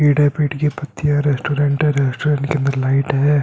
पेड़ है। पेड़ की पत्तियाँ हैं। रेस्टोरेंट है। रेस्टोरेंट के अंदर लाइट है।